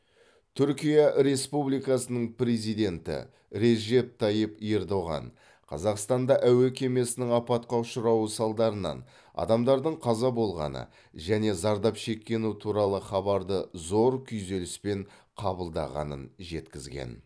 түркия республикасының президенті режеп тайип ердоған қазақстанда әуе кемесінің апатқа ұшырауы салдарынан адамдардың қаза болғаны және зардап шеккені туралы хабарды зор күйзеліспен қабылдағанын жеткізген